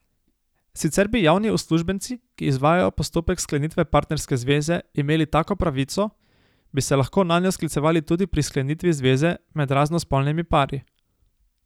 Sicer bi javni uslužbenci, ki izvajajo postopek sklenitve partnerske zveze, imeli tako pravico, bi se lahko nanjo sklicevali tudi pri sklenitvi zveze med raznospolnimi pari.